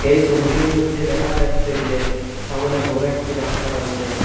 এই সবিটির মইধ্যে দেখা যাচ্ছে যে সামোনে বড় একটি রাস্তা রয়েসে।